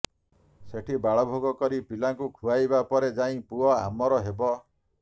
ସେଠି ବାଳଭୋଗ କରି ପିଲାଙ୍କୁ ଖୁଆଇବା ପରେ ଯାଇ ପୁଅ ଆମର ହବ